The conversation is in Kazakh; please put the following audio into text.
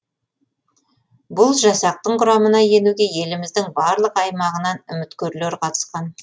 бұл жасақтың құрамына енуге еліміздің барлық аймағынан үміткерлер қатысқан